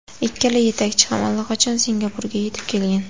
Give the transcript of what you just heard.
Ikkala yetakchi ham allaqachon Singapurga yetib kelgan.